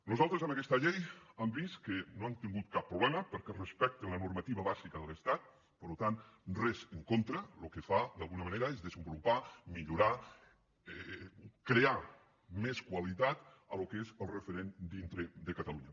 nosaltres amb aquesta llei han vist que no hem tingut cap problema perquè respecta la normativa bàsica de l’estat per tant res en contra el que fa d’alguna manera és desenvolupar millorar crear més qualitat al que és el referent dintre de catalunya